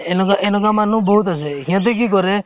এনেকুৱা~ এনেকুৱা মানুহ বহুত আছে সিহঁতে কি কৰে